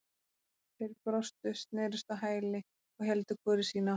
Þeir brostu, snerust á hæli og héldu hvor í sína áttina.